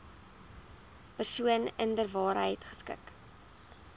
persoon inderwaarheid geskik